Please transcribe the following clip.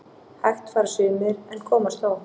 Hægt fara sumir en komast þó